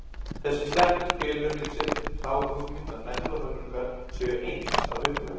Þessi setning felur í sér þá hugmynd að menn og höfrungar séu eins að upplagi.